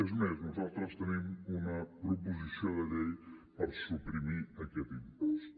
és més nosaltres tenim una proposició de llei per suprimir aquest impost